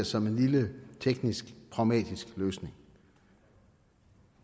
som en lille teknisk pragmatisk løsning